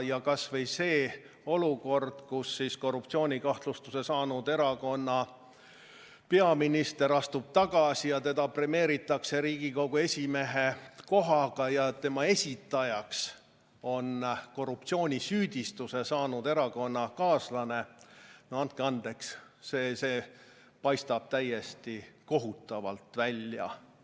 Kas või see olukord, et korruptsioonikahtlustuse saanud erakonna peaminister astub tagasi ja teda premeeritakse Riigikogu esimehe kohaga, kusjuures tema esitajaks on korruptsioonisüüdistuse saanud erakonnakaaslane – no andke andeks, see paistab täiesti kohutav välja!